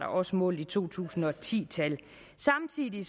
også målt i to tusind og ti tal samtidig